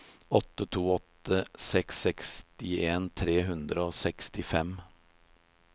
åtte to åtte seks sekstien tre hundre og sekstifem